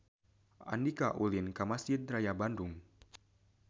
Andika ulin ka Mesjid Raya Bandung